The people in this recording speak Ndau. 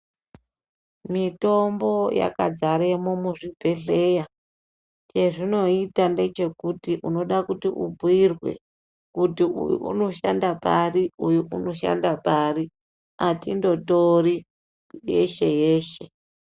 Mitombo yakadzaremo muzvibhedhleya chezvinoita ndechekuti unoda kuti ubhuirwe kuti uyu unoshanda pari uyu unoshanda pari atindotori yeshe yeshe.